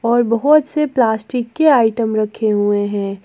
और बहोत से प्लास्टिक के आइटम रखे हुए हैं।